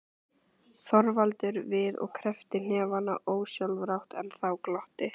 Þorvaldur við og kreppti hnefana ósjálfrátt, en þá glotti